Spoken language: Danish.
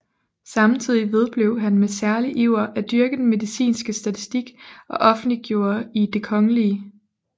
Samtidig vedblev han med særlig iver at dyrke den medicinske statistik og offentliggjorde i Det kgl